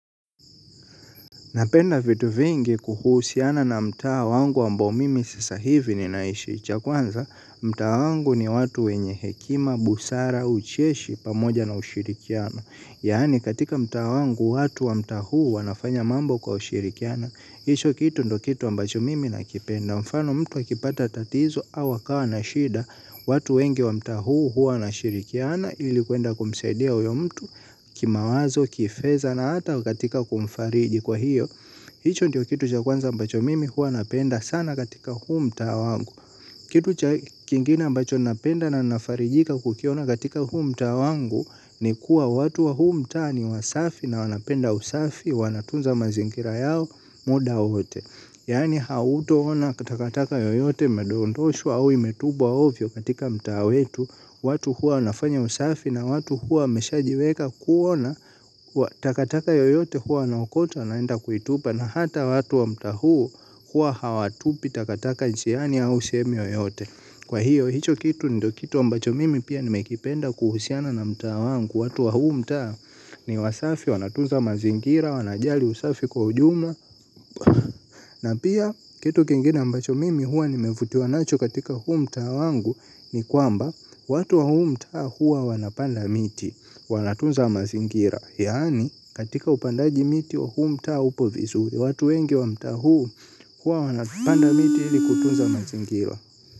Napenda vitu vingi kuhusiana na mtaa wangu ambao mimi sasa hivi ninaishi. Cha kwanza, mtaa wangu ni watu wenye hekima, busara, ucheshi, pamoja na ushirikiano. Yaani katika mtaa wangu watu wa mtaa huu wanafanya mambo kwa ushirikiano. Hicho kitu ndiyo kitu ambacho mimi nakipenda. Mfano mtu akipata tatizo au akawa na shida watu wengi wa mtaa huu huwa wanashirikiana. Ili kuenda kumsaidia huyo mtu kimawazo kifedha na hata katika kumfariji kwa hiyo. Hicho ndiyo kitu cha kwanza ambacho mimi huwa napenda sana katika huu mtaa wangu. Kitu cha kingine ambacho ninapenda na nafarijika kukiona katika huu mtaa wangu. Ni kuwa watu wa huu mtaa ni wasafi na wanapenda usafi. Wanatunza mazingira yao muda ote. Yani hautoona takataka yoyote imedondoshwa au imetupwa ovyo katika mtaa wetu. Watu huwa wanafanya usafi na watu huwa wameshajiweka kuona. Takataka yoyote huwa wanaokota wanaenda kuitupa. Na hata watu wa mtaa huu huwa hawatupi takataka njiani au sehemu yoyote. Kwa hiyo, hicho kitu ndiyo kitu ambacho mimi pia nimekipenda kuhusiana na mtaa wangu. Watu wa huu mtaa ni wasafi wanatunza mazingira, wanajali usafi kwa ujumla. Na pia, kitu kingine ambacho mimi huwa nimevutiwa nacho katika huu mtaa wangu. Ni kwamba, watu wa huu mtaa huwa wanapanda miti. Wanatunza mazingira. Yaani, katika upandaji miti wa huu mtaa upo vizuri. Watu wengi wa mtaa huu, huwa wanapanda miti ili kutunza mazingira.